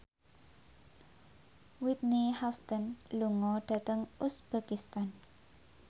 Whitney Houston lunga dhateng uzbekistan